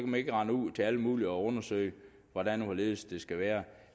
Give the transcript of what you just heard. man ikke rende ud til alle mulige og undersøge hvordan og hvorledes det skal være